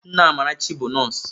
Nne Amarachi bụ nọọsụ.